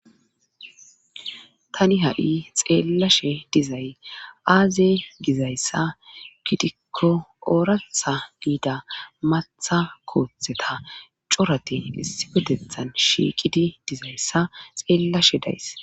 tani ha7i xeellashe dizay aaze gizayssa gidikko ooratha diida matha kootheta corate issibetethan shiiqidi dizayssa xeellashe days